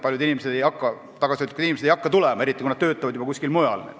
Paljud tagasihoidlikud inimesed ei hakka tulema, eriti kui nad töötavad juba kuskil mujal.